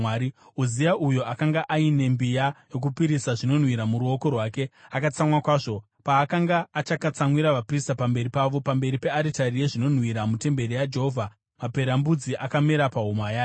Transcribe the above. Uzia uyo akanga aine mbiya yokupisira zvinonhuhwira muruoko rwake, akatsamwa kwazvo. Paakanga achakatsamwira vaprista pamberi pavo, pamberi pearitari yezvinonhuhwira mutemberi yaJehovha, maperembudzi akamera pahuma yake.